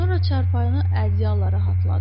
Sonra çarpayıda ədyala rahatladı.